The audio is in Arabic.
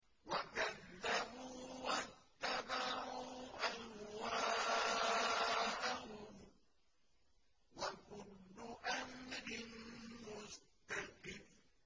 وَكَذَّبُوا وَاتَّبَعُوا أَهْوَاءَهُمْ ۚ وَكُلُّ أَمْرٍ مُّسْتَقِرٌّ